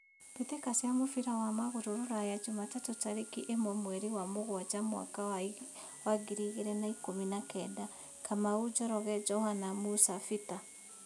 Mbĩtĩka cia mũbira wa magũrũ Ruraya Jumatatũ tarĩki ĩmwe mweri wa mũgwanja mwaka wa ngiri igĩrĩ na ikũmi na kenda: Kamau, Njoroge, Johana, Musa, Bita